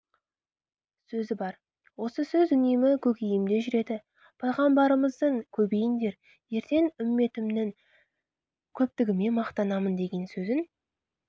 сөзі бар осы сөз үнемі көкейімде жүреді пайғамбарымыздың көбейіңдер ертең үмбетімнің көптігімен мақтанамын деген сөзін